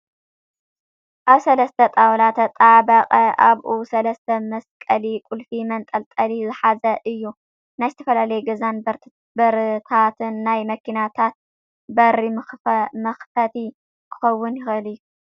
ኣብ ሰለስተ ጣውላ ተጣበቃ ኣብኡ ሰለስተ መስቀሊ ቁልፊ መንጠልጠሊ ዝሓዘ እዩ። ናይ ዝተፈላለየ ገዛን በርታትን ናይ መኪናታት በር ምክፈቲ ክክውን ይክእል እዩ።